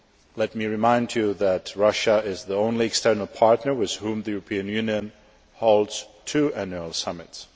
Let me remind you that Russia is the only external partner with whom the European Union holds two annual summits.